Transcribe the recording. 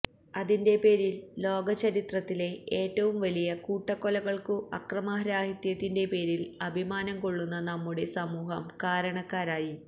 അതിന്റെ പേരിൽ ലോക ചരിത്രത്തിലെ ഏറ്റവും വലിയ കൂട്ടക്കൊലകൾക്കു അക്രമരാഹിത്യത്തിന്റെ പേരിൽ അഭിമാനം കൊള്ളുന്ന നമ്മുടെ സമൂഹം കാരണക്കാരായി